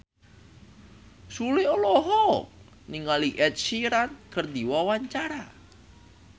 Sule olohok ningali Ed Sheeran keur diwawancara